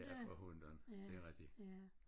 Ja for hundan det er rigtigt